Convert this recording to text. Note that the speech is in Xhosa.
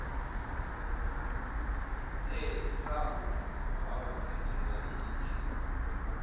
esakugqiba wabathathela ikhi